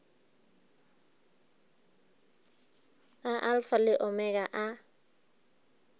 a alfa le omega a